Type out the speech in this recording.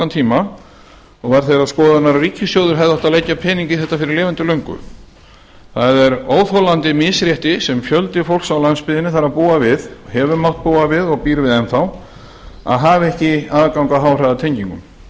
tíma og var þeirrar skoðunar að ríkissjóður hefði átt að leggja pening í þetta fyrir lifandi löngu það er óþolandi misrétti sem fjöldi fólks á landsbyggðinni þarf að búa við hefur mátt búa við og býr við enn að hafa ekki aðgang að háhraðatengingum við